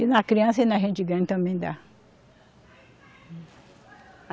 E na criança e na gente grande também dá.